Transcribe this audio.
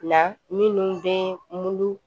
Na minnu bɛ mulu